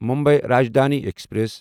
Mumbai Rajdhani express